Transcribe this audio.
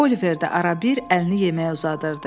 Oliver də ara-bir əlini yeməyə uzadırdı.